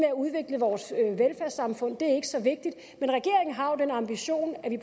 at udvikle vores velfærdssamfund er ikke så vigtigt men regeringen har jo den ambition at vi